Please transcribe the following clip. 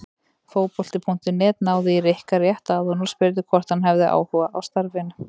Fótbolti.net náði í Rikka rétt áðan og spurði hvort hann hefði áhuga á starfinu?